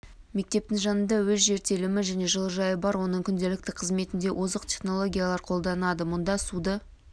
мектептің жанында өз жер телімі және жылыжайы бар оның күнделікті қызметінде озық технологиялар қолданады мұнда суды